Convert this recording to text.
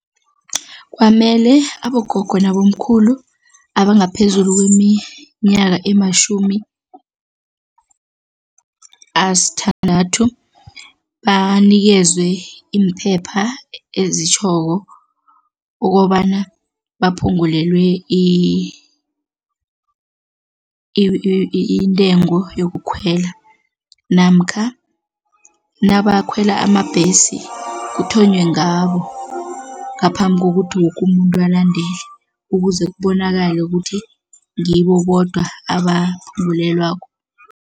Kwamele abogogo nabomkhulu abangaphezulu kweminyaka ematjhumi asithandathu banikezwe iimphepha ezitjhoko ukobana baphungulelwe intengo yokukhwela namkha nabakhwela amabhesi kuthonywe ngabo ngaphambi kokuthi woke umuntu alandele ukuze kubonakale ukuthi ngibo bodwa